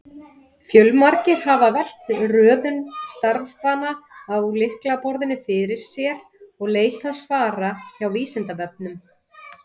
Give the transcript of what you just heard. Fjölmargir hafa velt röðun stafanna á lyklaborðinu fyrir sér og leitað svara hjá Vísindavefnum.